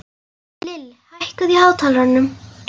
Lill, hækkaðu í hátalaranum.